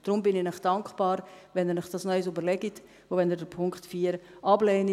Deshalb bin ich Ihnen dankbar, wenn Sie sich dies noch einmal überlegen und wenn Sie den Punkt 4 ablehnen.